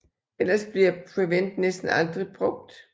Ellers bliver Prevent næsten aldrig brugt